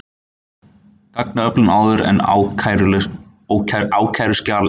Gagnaöflun áður en ákæruskjal er birt